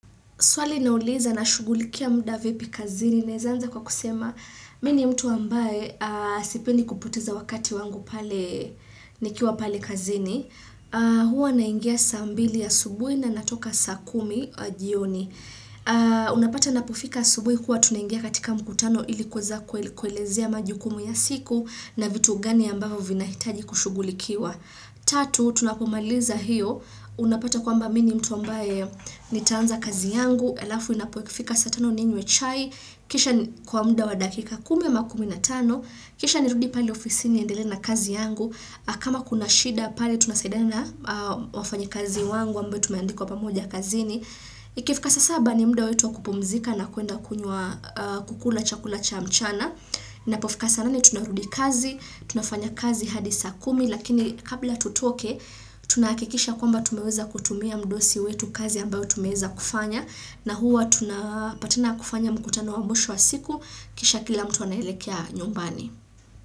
Swali nauliza na shugulikia muda vipi kazini. Naweza anza kwa kusema, mimi ni mtu ambaye sipendi kupoteza wakati wangu pale nikiwa pale kazini. Hua naingia saa mbili asubuhi na natoka saa kumi jioni. Unapata napofika asubuhi huwa tunaingia katika mkutano ilikuweza kuelezea majukumu ya siku na vitu gani ambavyo vina hitaji kushugulikiwa. Tatu, tunapomaliza hiyo. Unapata kwamba mimi ni mtu ambaye nitaanza kazi yangu alafu inapo ikifika saa tano ninywe chai kisha kwa muda wa dakika kumi ama kumi na tano kisha nirudi pale ofisini niendelee na kazi yangu kama kuna shida pale tunasaidana wafanyikazi wangu ambao tumeandikwa pamoja kazini ikifika saa saba ni muda wetu wakupumzika na kuenda kunywa kukula chakula cha mchana inapofika saa nane tunarudi kazi tunafanya kazi hadi saa kumi lakini kabla tutoke tunahakikisha kwamba tumeweza kutumia mdosi wetu kazi ambayo tumeweza kufanya na huwa tunapatana kufanya mkutano wa mwisho wa siku kisha kila mtu anaelekea nyumbani.